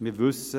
Wir wissen: